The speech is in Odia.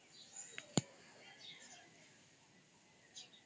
noise